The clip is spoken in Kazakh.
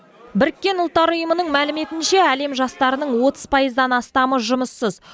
біріккен ұлттар ұйымының мәліметінше әлем жастарының отыз пайыздан астамы жұмыссыз